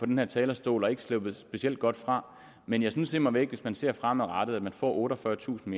den her talerstol og ikke er sluppet specielt godt fra men jeg synes immer væk at hvis man ser fremadrettet at man får otteogfyrretusind